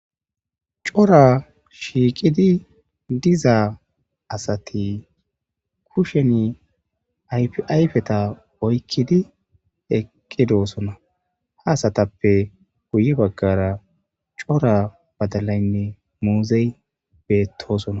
cora shiiqidi diza asati kushen yayfeta oykkidi eqqidoosona ha asatappe guye baggara cora badalaynne muuzey beettosona